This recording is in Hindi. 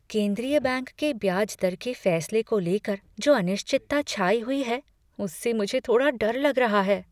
केंद्रीय बैंक के ब्याज दर के फैसले को लेकर जो अनिश्चितता छाई हुई है उससे मुझे थोड़ा डर लग रहा है।